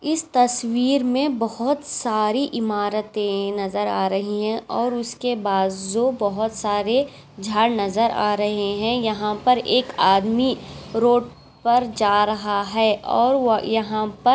इस तस्वीर में बहुत सारी इमारातें नजर आ रही हैं और उसके बाज़ू बहुत सारे झाड़ नजर आ रही हैं यहाँ पर एक आदमी रोड पर जा रहा है और वो यहाँ पर--